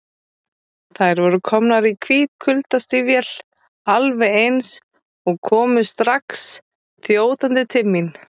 Þær voru komnar í hvít kuldastígvél, alveg eins, og komu strax þjótandi til mín.